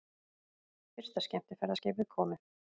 Fyrsta skemmtiferðaskipið komið